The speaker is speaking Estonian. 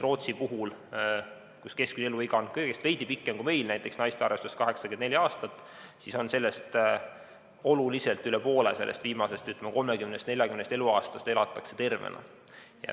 Rootsis on keskmine eluiga kõigest veidi pikem kui meil, näiteks naiste arvestuses 84 aastat, aga oluline osa sellest, üle poole viimasest 30 või 40 eluaastast elatakse tervena.